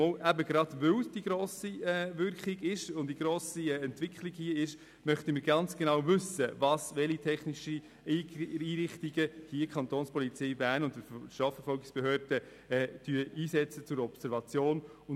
Eben gerade weil diese Entwicklung stattfindet und die Wirkung so gross ist, möchten wir ganz genau wissen, welche technischen Einrichtungen die Kapo Bern und die Strafverfolgungsbehörden zur Observation einsetzen.